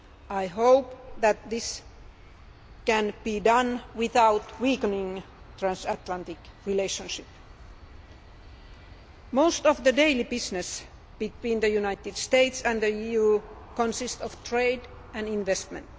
I hope that this can be done without weakening the transatlantic relationship. Most of the daily business between the United States and the EU consists of trade and investment.